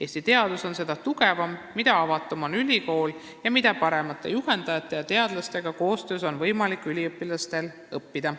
Eesti teadus on seda tugevam, mida avatum on ülikool ning mida paremate juhendajate ja teadlastega koostööd tehes on võimalik üliõpilastel õppida.